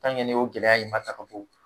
ni o gɛlɛya in ma ta ka bɔ